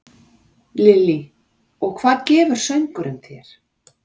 Lillý: Og hvað gefur söngurinn þér?